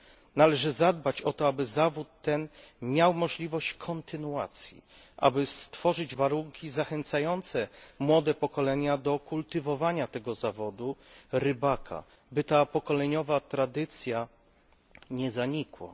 Należy zadbać o to, aby zawód ten miał możliwość kontynuacji, aby stworzyć warunki zachęcające młode pokolenia do kultywowania tego zawodu rybaka, by ta pokoleniowa tradycja nie zanikła.